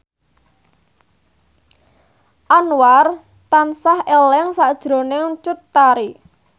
Anwar tansah eling sakjroning Cut Tari